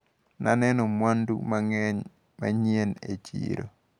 Naneno mwandu mang`eny manyien e chiro.